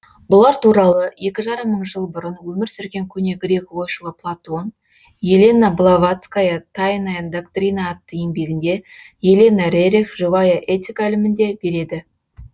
бұлар туралы екі жарым мың жыл бұрын өмір сүрген көне грек ойшылы платон елена блаватская тайная доктрина атты еңбегінде елена рерих живая этика ілімінде береді